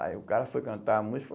Aí o cara foi cantar a música.